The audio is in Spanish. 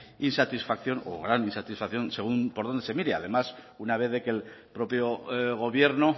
insatisfacción o gran insatisfacción según por donde se mire además una vez de que el propio gobierno